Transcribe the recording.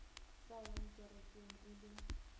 sa yang kerekeng e le